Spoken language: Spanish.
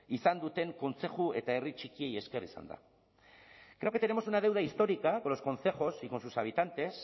izan duten kontzeju eta herri txikiei esker izan da creo que tenemos una deuda histórica con los concejos y con sus habitantes